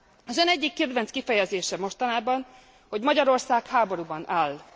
Az ön egyik kedvenc kifejezése mostanában, hogy Magyarország háborúban áll.